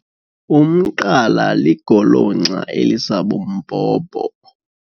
Umqala ligolonxa elisabumbhobho.